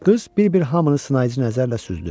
Qız bir-bir hamını sınayıcı nəzərlə süzdü.